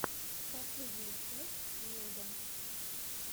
последняя часть меда